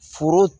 Foro